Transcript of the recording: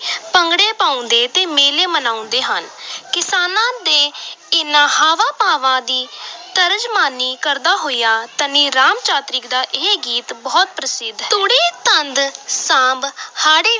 ਭੰਗੜੇ ਪਾਉਂਦੇ ਤੇ ਮੇਲੇ ਮਨਾਉਂਦੇ ਹਨ ਕਿਸਾਨਾਂ ਦੇ ਇਨ੍ਹਾਂ ਹਾਵਾਂ-ਭਾਵਾਂ ਦੀ ਤਰਜਮਾਨੀ ਕਰਦਾ ਹੋਇਆ ਧਨੀ ਰਾਮ ਚਾਤ੍ਰਿਕ ਦਾ ਇਹ ਗੀਤ ਬਹੁਤ ਪ੍ਰਸਿੱਧ ਹੈ ਤੂੜੀ ਤੰਦ ਸਾਂਭ ਹਾੜੀ